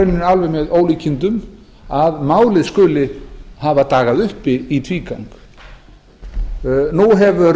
það alveg með ólíkindum að málið skuli hafa dagað uppi í tvígang eflaust mun